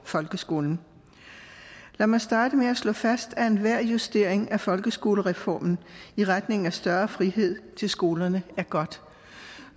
folkeskolen lad mig starte med at slå fast at enhver justering af folkeskolereformen i retning af større frihed til skolerne er godt